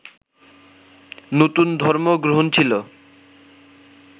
নতুন ধর্ম গ্রহণ ছিল